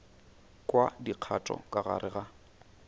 kwa dikgato ka gare ga